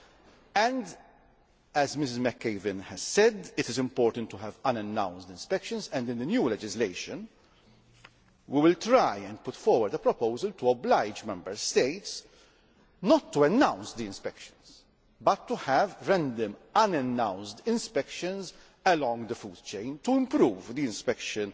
Also, as Mrs McAvan said, it is important to have unannounced inspections, and in the new legislation we will try and put forward a proposal to oblige Member States not to announce the inspections but to have random unannounced inspections along the food chain to improve the inspection